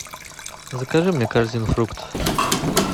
закажи мне корзину фруктов